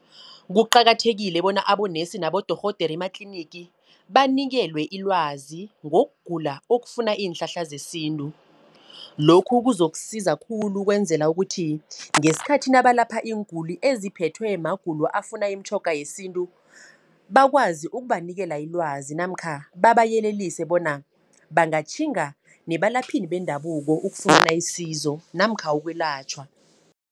Kuqakathekile bona abonesi nabodorhodere ematlinigi, banikelwe ilwazi ngogula okufuna iinhlahla zesintu. Lokhu kuzokusiza khulu ukwenzela ukuthi ngeskhathi nabalapha iinguli, eziphethwe magulo afuna imitjhoga yesintu. Bakwazi ukubanikela ilwazi namkha babayelelise bona bangatjhinga nebalaphini bendabuko, ukufuna isizo namkha ukwelatjhwa.